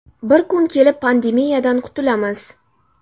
Bir kun kelib pandemiyadan qutulamiz.